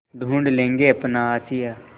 ढूँढ लेंगे अपना आशियाँ